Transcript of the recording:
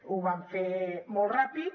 ho van fer molt ràpid